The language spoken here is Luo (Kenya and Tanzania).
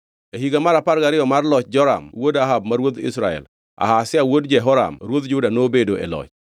E higa mar apar gariyo mar loch Joram wuod Ahab ma ruodh Israel, Ahazia wuod Jehoram ruodh Juda nobedo e loch.